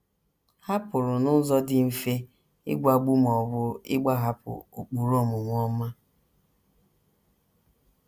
Ha pụrụ n’ụzọ dị mfe ịgwagbu ma ọ bụ ịgbahapụ ụkpụrụ omume ọma.